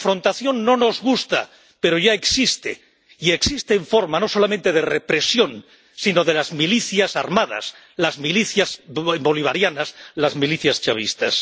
La confrontación no nos gusta, pero ya existe y existe en forma no solamente de represión, sino de milicias armadas las milicias bolivarianas, las milicias chavistas.